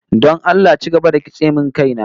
Don Allah ci gaba da kitse min kaina